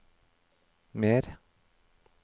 mer